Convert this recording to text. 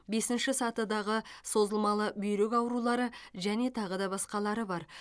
бесінші сатыдағы созылмалы бүйрек аурулары және тағы да басқалары бар